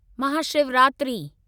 Mahashivratri